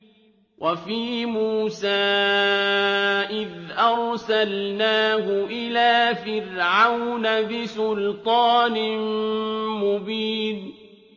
وَفِي مُوسَىٰ إِذْ أَرْسَلْنَاهُ إِلَىٰ فِرْعَوْنَ بِسُلْطَانٍ مُّبِينٍ